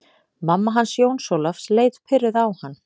Mamma hans Jóns Ólafs leit pirruð á hann.